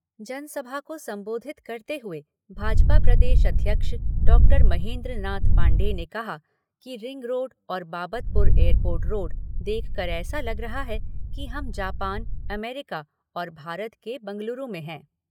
जनसभा को संबोधित करते हुए भाजपा प्रदेश अध्यक्ष डॉक्टर महेन्द्रनाथ पाण्डेय ने कहा कि रिंग रोड और बाबतपुर एयरपोर्ट रोड देखकर ऐसा लग रहा है कि हम जापान, अमेरिका और भारत के बेंगलुरु में हैं।